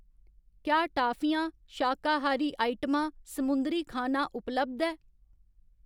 क्या टाफियां, शाकाहारी आइटमां, समुंदरी खाना उपलब्ध ऐ ?